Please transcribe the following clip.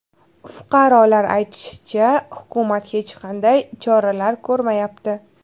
Fuqarolar aytishicha, hukumat hech qanday choralar ko‘rmayapti.